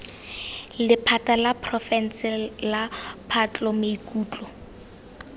lephata la porofense la patlomaikutlo